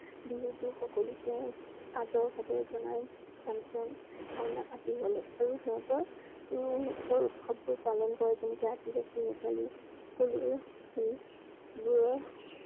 বিহুত সকলোকে আদৰ সাদৰ জনাই function মেলা আদি হলে আৰু সিহঁত~ৰো সিহঁতৰ উৎসবোৰ পালন কৰে যেনেকৈ আদিবাসী, নেপালি